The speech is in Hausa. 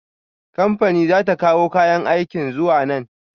Kamfani za ta kawo kayan aikin zuwa nan.